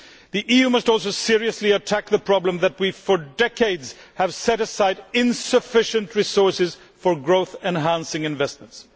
The EU must also seriously attack the problem that for decades we have set aside insufficient resources for growth enhancing investments.